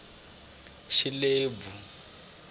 xilebvu